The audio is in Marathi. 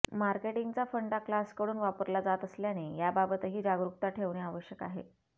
मार्केटिंगचा फंडा क्लासकडून वापरला जात असल्याने याबाबतही जागरूकता ठेवणे आवश्यक आहे